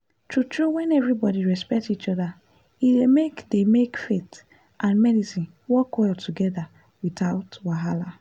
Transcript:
true true when everybody respect each other e dey make dey make faith and medicine work well together without wahala.